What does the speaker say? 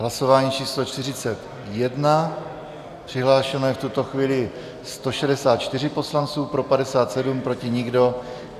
Hlasování číslo 41, přihlášeno jsou v tuto chvíli 164 poslanci, pro 57, proti nikdo.